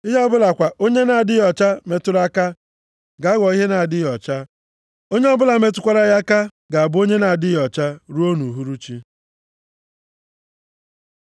Ihe ọbụla kwa onye na-adịghị ọcha metụrụ aka, ga-aghọ ihe na-adịghị ọcha, onye ọbụla metụkwara ya aka ga-abụ onye na-adịghị ọcha ruo nʼuhuruchi.”